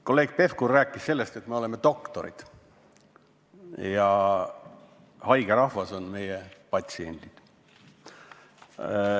Kolleeg Pevkur rääkis sellest, et me oleme doktorid ja haige rahvas on meie patsiendid.